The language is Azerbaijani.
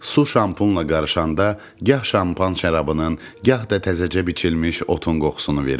Su şampunla qarışanda gah şampan şərabının, gah da təzəcə biçilmiş otun qoxusunu verirdi.